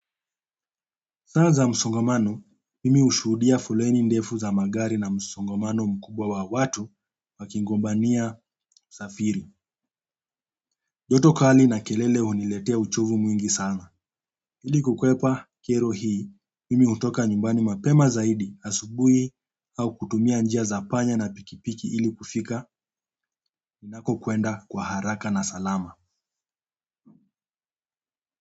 Saa za msongamano, mimi ushuhudia foleni ndefu za magari na msongamano mkubwa wa watu wakigombania safiri. Joto kali na kelele huniletea uchovu mwingi sana ili kukwepa kero hii, mimi hutoka nyumbani mapema zaidi, asubuhi au kutumia njia za panya na pikipiki ili kufika, ninako kwenda kwa haraka na salama.